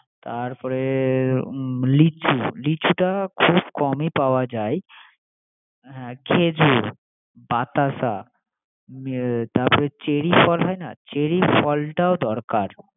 তারপরে লিচু¬লিচুটা খুব কমই পাওয়া যায়। খেজুর বাতাসা, তারপরে চেরী ফল হয়না, চেরী ফলটাও দরকার